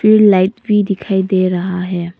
फ़िर लाइट भी दिखाई दे रहा है।